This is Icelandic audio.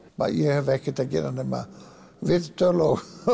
ég hef ekkert að gera nema viðtöl